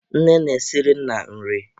Nne na-esiri nna nri.